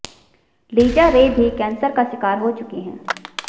Lisa Ray भी cancer का शिकार हो चुकी हैं